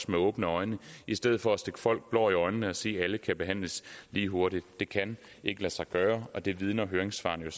med åbne øjne i stedet for at stikke folk blår i øjnene og sige at alle kan behandles lige hurtigt det kan ikke lade sig gøre og det vidner høringssvarene